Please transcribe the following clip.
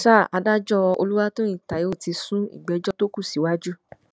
sa adájọ olùwàtòyìn taiwo ti sún ìgbẹjọ tó kù síwájú